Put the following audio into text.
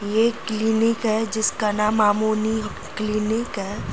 यह एक क्लिनिक है जिसका नाम मामोनी क्लीनिक है।